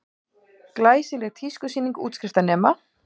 Glæsileg tískusýning útskriftarnema